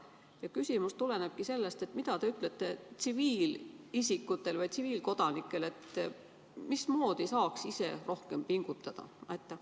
Minu küsimus tulenebki sellest: mida te ütlete tsiviilisikutele, mismoodi me saaks ise rohkem pingutada?